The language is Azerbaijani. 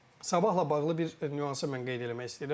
Sabahla bağlı bir nüansı mən qeyd eləmək istəyirəm.